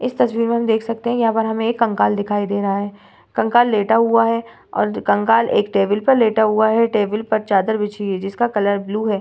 इस तस्वीर में हम देख सकते हैं यहाँ पर हमें एक कंकाल दिखाई दे रहा है कंकाल लेटा हुआ है और कंकाल एक टेबल पर लेटा हुआ है टेबल पर चादर बिछी हुई है जिसका कलर ब्लू है।